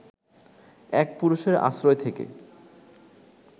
এক পুরুষের আশ্রয় থেকে